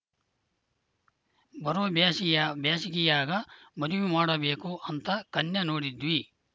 ಬರೋ ಬ್ಯಾಸಿಯ ಬ್ಯಾಸಿಗಿಯಾಗ ಮದುವಿ ಮಾಡಬೇಕು ಅಂತ ಕನ್ಯಾ ನೋಡಿದ್ವಿ